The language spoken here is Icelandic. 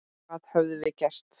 Hvað höfum við gert?